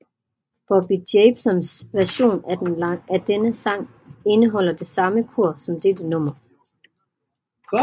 Bobby Jamesons version af denne sang indeholder det samme kor som dette nummer